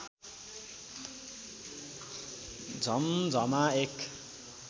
झम्झमा एक